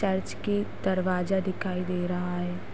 Church के दरवाजा दिखाई दे रहा है।